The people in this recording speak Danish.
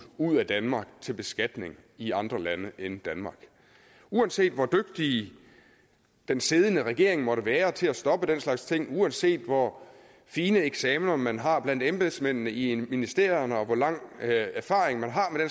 ud af danmark til beskatning i andre lande end danmark uanset hvor dygtig den siddende regering måtte være til at stoppe den slags ting uanset hvor fine eksamener man har blandt embedsmændene i ministerierne og hvor lang erfaring man har med